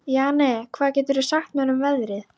Jane, hvað geturðu sagt mér um veðrið?